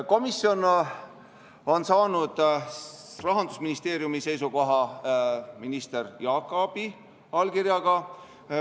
Komisjon on saanud Rahandusministeeriumi seisukoha minister Jaak Aabi allkirjaga.